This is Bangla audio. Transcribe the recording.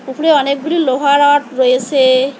উপরে অনেকগুলি লোহা রড রয়েসে ।